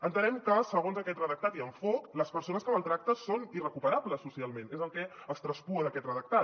entenem que segons aquest redactat i enfocament les persones que maltracten són irrecuperables socialment és el que traspua d’aquest redactat